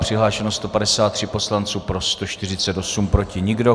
Přihlášeno 153 poslanců, pro 148, proti nikdo.